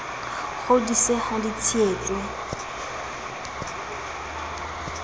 kgodise ha di tshehe tswe